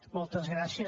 moltes gràcies